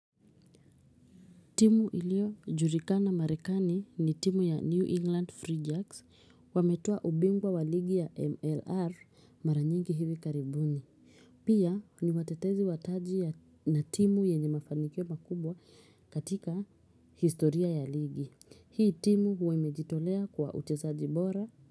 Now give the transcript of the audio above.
Timu iliyo julikana marekani ni timu ya New England Free Jacks wametua ubingwa wa ligi ya MLR mara nyingi hivi karibuni. Pia ni watetezi wataji na timu yenye mafanikio makubwa katika historia ya ligi. Hii timu huwa imejitolea kwa uchezaji bora.